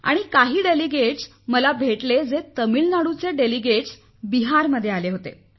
आणि काही प्रतिनिधीही मला भेटले जे तामिळनाडूचे प्रतिनिधी बिहारमध्ये आले होते